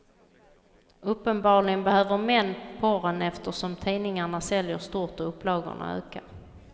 Uppenbarligen behöver män porren eftersom tidningarna säljer stort och upplagorna ökar.